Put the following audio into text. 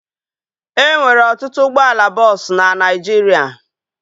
E nwere ọtụtụ ụgbọala bọọsu na Naijiria